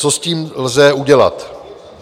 Co s tím lze udělat?